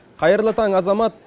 қайырлы таң азамат